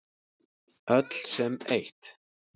Öll sem eitt.